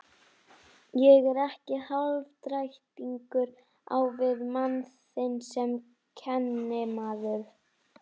Ég er ekki hálfdrættingur á við mann þinn sem kennimaður.